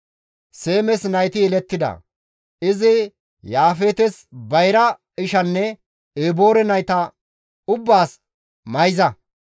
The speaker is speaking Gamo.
Seemes nayti yelettida; izi Yaafeetes bayra ishanne Eboore nayta ubbaas mayza.